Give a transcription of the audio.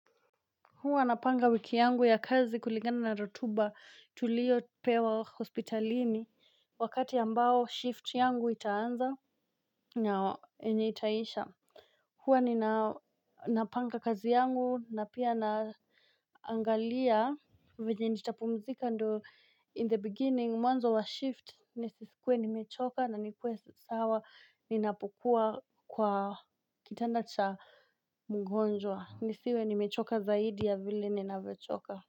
Hua napanga wiki yangu ya kazi kuligana na rotuba tulio pewa hospitalini wakati ambao shift yangu itaanza. Na yenye itaisha. Hua nina napanga kazi yangu na pia na Angalia Venye nitapumzika ndo in the beginning mwanzo wa shift nisisikuwe nimechoka na nikuwe sawa ninapokua kwa kitanda cha mgonjwa nisiwe nimechoka zaidi ya vile ninavyochoka.